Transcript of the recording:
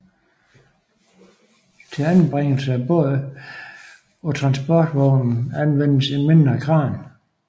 Til anbringelse af båden på transportvognen anvendtes en mindre kran